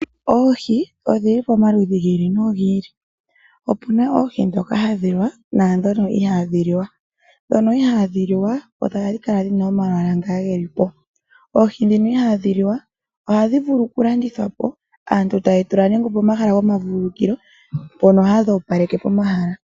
Oohi odhili pomaludhi gi ili nogi ili opuna oohi ndhoka hadhi liwa nandhono ihadhi liwa. Ndhono ihadhi liwa odho hadhi kala dhina omalwala nga gelipo, oohi ndhino ihadhi liwa ohadhi vulu oku landithwapo aantu tayedhi tula nande opomahala gomavulukilo mpono hadhi opaleke omahala.